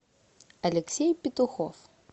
алексей петухов